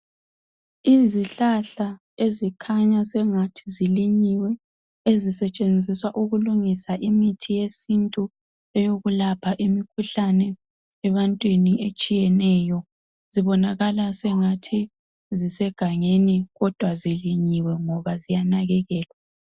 Izihlahla ezikhanya sengathi zilinyiwe ezisetshenziswa ukulungisa imithi yesintu eyokulapha imikhuhlane ebantwini etshiyeneyo zibonakala sengathi zisegangeni kodwa zilinyiwe ngoba ziyanakekelwa.